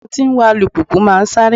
Àwọn tí ń wa alùpìpì máa sáré